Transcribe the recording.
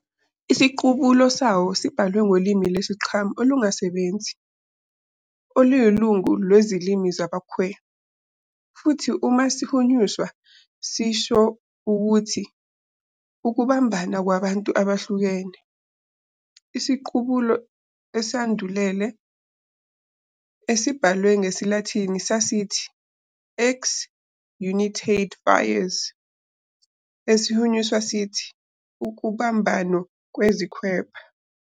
Isiqubulo sawo sibhalwe ngolimi lesi- -Xam olungasebenzi, oluyilungu lwezilimi zabaKhwe, futhi uma sihunyushwa sisho ukuthi "ukubumbana kwabantu abahlukene". isiqubulo esandulele, esibhalwe bgesilathini sasithi "Ex Unitate Vires", esihunyuswa sithi "kubumbano, kunezikhwepha".